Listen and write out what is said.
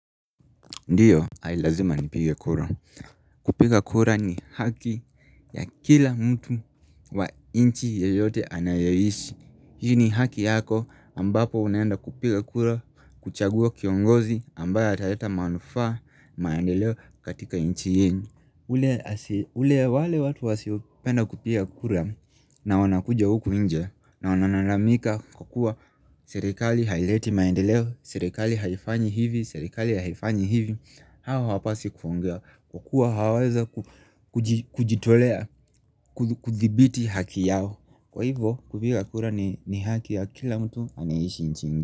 Ndiyo, ai lazima nipige kura. Kupiga kura ni haki ya kila mtu wa nchi yeyote anayeishi. Hii ni haki yako ambapo unaenda kupiga kura kuchagua kiongozi ambaye ataleta manufaa maendeleo katika inchi yenu. Ule wale watu wasiopenda kupiga kura na wanakuja huku nje na wananalamika kukua serikali haileti maendeleo, Serikali haifanyi hivi, serikali haifanyi hivi Hawa hawapaswi kuongea kukua hawawezi kujitolea, kuthibiti haki yao Kwa hivo, kupiga kura ni haki ya kila mtu anayeishi nchini.